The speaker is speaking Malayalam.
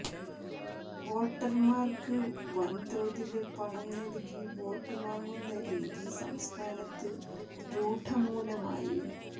വോട്ടര്മാര്ക്ക് വന്തോതില് പണം നല്കി വോട്ട് വാങ്ങുന്ന രീതി സംസ്ഥാനത്ത് രൂഡമൂലമായി